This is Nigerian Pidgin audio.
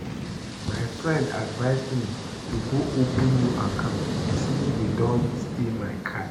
My friend advice me to go open new account since dey don steal my card